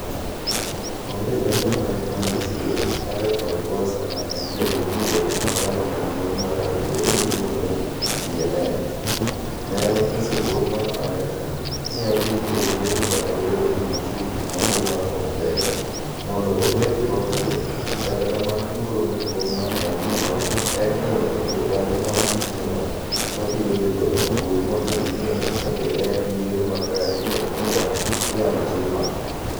Onge lendo manitie Agathon Rwasa ma en jalup ker mar chama maduong' mar akwede miluongo ni CNL, ne onyiso dwol mar Amerka ni odhi e yiero kata obedo ni nitie gik moko ma ok ber, mondo okel lokruok, kata kamano luoro maduong' ma en - go en ni onge jokanyo mag bucheno ma biro dhi goyo ombulu mondo ging'e ka be en yiero makare kod kaka inyalo tim mano.